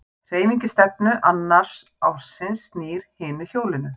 Hreyfing í stefnu annars ássins snýr hinu hjólinu.